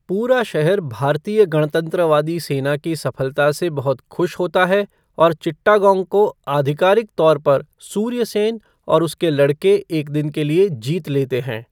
पूरा शहर भारतीय गणतंत्रवादी सेना की सफलता से बहुत खुश होता है और चिट्टागोंग को आधिकारिक तौर पर सूर्य सेन और उसके लड़के एक दिन के लिए जीत लेते हैं।